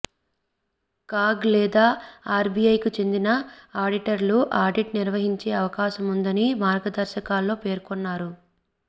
CAG లేదా ఆర్బీఐకి చెందిన ఆడిటర్లు ఆడిట్ నిర్వహించే అవకాశముందని మార్గదర్శకాల్లో పేర్కొన్నారు